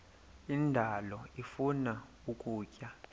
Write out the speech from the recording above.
indalo ifuna ukutya